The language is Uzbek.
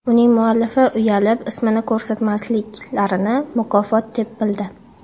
Uning muallifi uyalib, ismini ko‘rsatmasliklarini mukofot deb bildi.